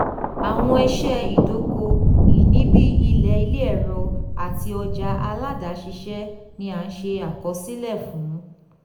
awọn iṣẹ idoko-ini bii ilẹ ile ẹrọ ati ọja aládàáṣiṣẹ ni a nse akosile fun.